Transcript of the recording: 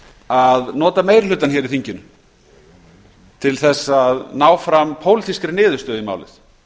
að nota meiri hlutann í þinginu til að ná fram pólitískri niðurstöðu í málið